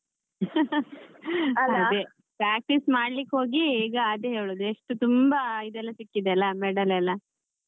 ಅದೇ practice ಮಾಡ್ಲಿಕ್ ಹೋಗಿ ಈಗ ಅದೇ ಹೇಳುದು ಎಷ್ಟು ತುಂಬಾ ಇದೆಲ್ಲ ಸಿಕ್ಕಿದೆ ಅಲ್ಲ medal ಎಲ್ಲಾ.